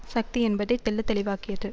சக்தி என்பதை தெள்ள தெளிவாக்கியது